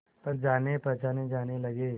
पर जानेपहचाने जाने लगे